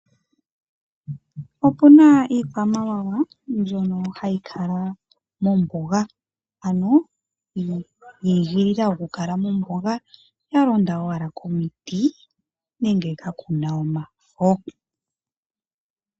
Opuna iikwamawawa mbyono hayi kala mombuga, ano yi igilila oku kala ya londa komiti nenge ka kuna omafo.